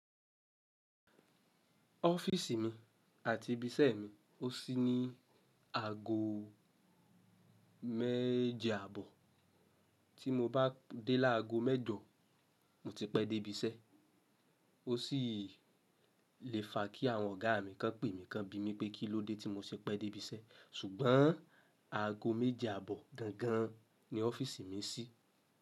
Ọ́fíìsì mi àti ibi iṣẹ́ mi ó sí ní àgọ́ méje àbọ̀, tí mo bá dé lágo mẹ́jọ mo ti pẹ́ dé ibi iṣẹ́. Ó sì lè fa kí àwọn ọ̀gá mi kan pè mí kan bí mi pé kí ló dé tí mo ṣe pẹ́ dé ibi iṣẹ́. Ṣùgbọ́n àgọ́ méje àbọ̀ gangan ni ọ́fíìsì mi sí.